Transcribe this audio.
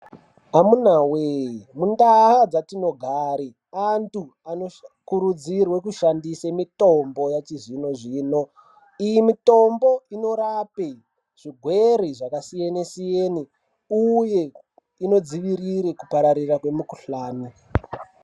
Amuna we mundau dzatinogara antu Anokurudzirwa kushandisa mitombo yechizvino zvino iyi mitombo inorapa zvirwere zvakasiyana siyana uye inodzivirira kupararira uye unodziviria kupararira kwemukuhlani.